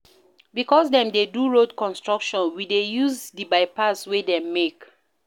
Because dem dey do road construction, we dey use di bypass wey dem make.